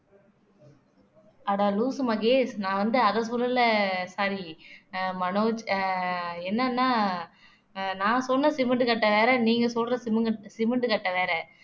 அட லூசு மகேஷ் நான் வந்து அத சொல்லல sorry மனோஜ் என்னன்னா நான் சொன்ன சிமெண்ட் கட்டை வேற நீங்க சொல்ற சிமெண்ட் சிமெண்ட் கட்டை வேற